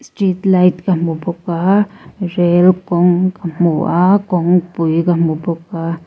street light ka hmu bawk aa rel kawng ka hmu a kawngpui ka hmu bawk.